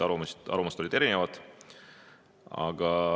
Arvamused olid erinevad.